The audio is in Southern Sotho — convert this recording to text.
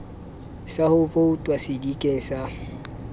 sa ho vouta sedikeng sa